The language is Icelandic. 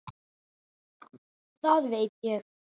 Það ég veit.